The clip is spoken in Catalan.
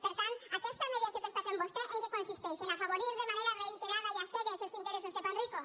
per tant aquesta mediació que fa vostè en què consisteix en afavorir de manera reiterada i a cegues els interessos de panrico